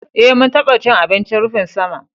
Eh, mun taɓa cin abincin rufin sama